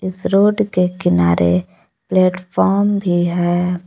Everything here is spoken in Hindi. रोड के किनारे प्लेटफार्म भी है।